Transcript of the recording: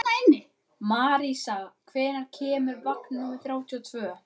Marísa, hvenær kemur vagn númer þrjátíu og tvö?